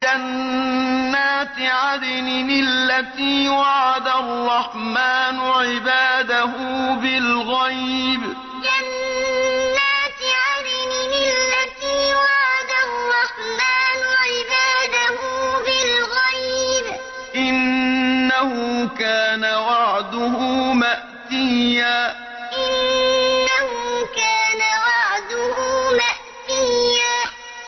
جَنَّاتِ عَدْنٍ الَّتِي وَعَدَ الرَّحْمَٰنُ عِبَادَهُ بِالْغَيْبِ ۚ إِنَّهُ كَانَ وَعْدُهُ مَأْتِيًّا جَنَّاتِ عَدْنٍ الَّتِي وَعَدَ الرَّحْمَٰنُ عِبَادَهُ بِالْغَيْبِ ۚ إِنَّهُ كَانَ وَعْدُهُ مَأْتِيًّا